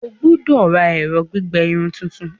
O gbọdọ ra ẹrọ gbigbẹ irun tuntun!